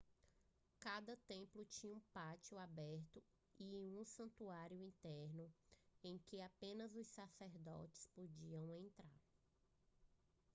cada templo tinha um pátio aberto e um santuário interno em que apenas os sacerdotes podiam entrar